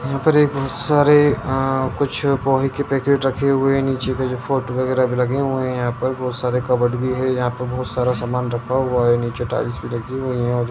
यहाँ पर ये बहुत सारे अ कुछ पोहे के पैकेट रखे हुए हैं नीचे के जो फोटो वगैरा भी लगे हुए हैं यहाँ पर बहुत सारे कबबर्ड भी है यहाँ पर बहुत सारा सामान रखा हुआ है नीचे टाइल्स भी लगी हुई हैं और --